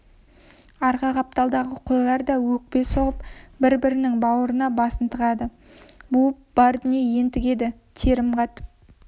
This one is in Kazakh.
арғы қапталдағы қойлар да өкпе соғып бір-бірінің бауырына басын тығады буып бар дүние ентігеді терім қатып